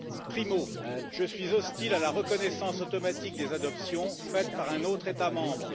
Primo, je suis hostile à la reconnaissance automatique des adoptions faites dans d'autres États membres.